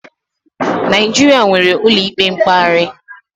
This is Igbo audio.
Naịjirịa nwere ụlọikpe mkpegharị.